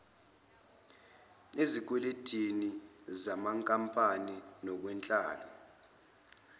ezikwelendini zenkampani nakunhlalo